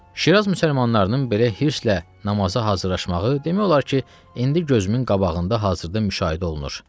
Şiraz müsəlmanlarının belə hirslə namaza hazırlaşmağı demək olar ki, indi gözümün qabağında hazırda müşahidə olunur.